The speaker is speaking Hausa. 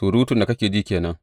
Surutun da kake ji ke nan.